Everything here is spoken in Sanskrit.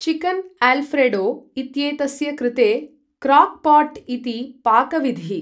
चिकन् अल्फ्रेडो इत्येतस्य कृते क्रॉक्पॉ ट् इति पाकविधिः ।